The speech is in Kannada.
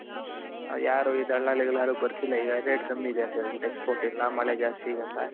ಯಾರು ಇ ದಲ್ಲಾಳಿ ಗಳು ಯಾರು ಬರ್ತಿಲ್ಲ ಈಗ rate ಕಮ್ಮಿ ಇದೆ ಅಂತ ಹೇಳ್ಬಿಟ್ಟಿ Export ಇಲ್ಲ ಮಳೆ ಜಾಸ್ತಿ ಅಂತ.